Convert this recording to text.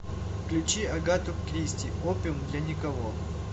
включи агату кристи опиум для никого